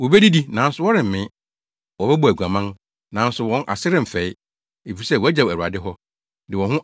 “Wobedidi, nanso wɔremmee. Wɔbɛbɔ aguaman, nanso wɔn ase remfɛe, efisɛ, wɔagyaw Awurade hɔ, de wɔn ho ama